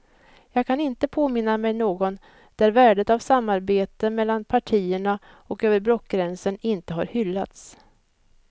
Jag kan inte påminna mig någon där värdet av samarbete mellan partierna och över blockgränsen inte har hyllats.